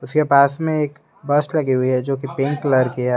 के पास में एक बस लगी हुई है जो की पिंक कलर कि है।